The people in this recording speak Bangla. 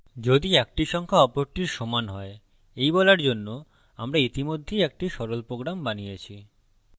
যদি একটি সংখ্যা অপরটির সমান হয় এই বলার জন্য আমরা ইতিমধ্যেই একটি সরল program বানিয়েছি